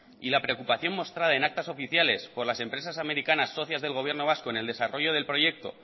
y la preocupación mostrada en actas oficiales por las empresas americanas socias del gobierno vasco en el desarrollo del proyecto